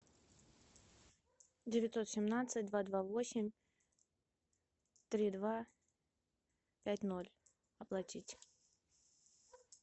девятьсот семнадцать два два восемь три два пять ноль оплатить